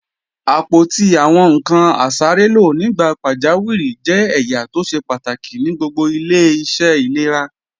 Àpótí àwọn ǹkan asárélò nígbà pàjáwìrì jẹ́ ẹ̀yà tó ṣe pàtàkì ní gbogbo ilé-iṣẹ́ ìlera